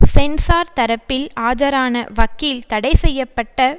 sensor தரப்பில் ஆஜரான வக்கீல் தடைசெய்ய பட்ட